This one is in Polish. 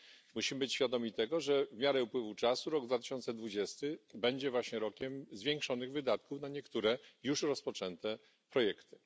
Musimy być świadomi tego, że w miarę upływu czasu rok 2020 będzie właśnie rokiem zwiększonych wydatków na niektóre już rozpoczęte projekty.